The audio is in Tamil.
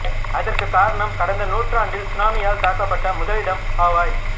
அதற்கு காரணம் கடந்த நூற்றாண்டில் சுனாமியால் தாக்கப்பட்ட முதல் இடம் ஹவாய்